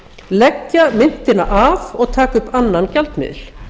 leggja myntina af og taka upp annan gjaldmiðil